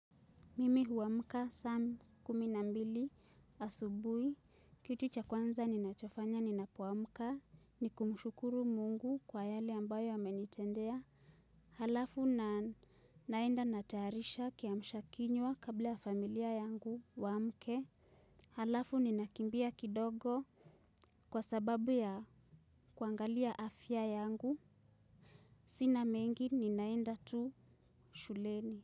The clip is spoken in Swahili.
Mimi huwamka saa kumi na mbili asubui, kitu cha kwanza ninachofanya ninapoamka, ni kumushukuru mungu kwa yale ambayo amenitendea. Halafu na naenda natayarisha kiamshakinywa kabla ya familia yangu waamke. Halafu ni nakimbia kidogo kwa sababu ya kuangalia afya yangu, sina mengi ni naenda tu shuleni.